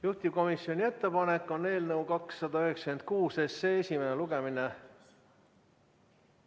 Juhtivkomisjoni ettepanek on eelnõu 296 esimene lugemine ...